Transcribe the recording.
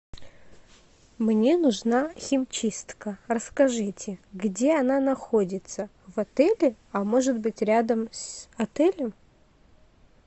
мне нужна химчистка расскажите где она находится в отеле а может быть рядом с отелем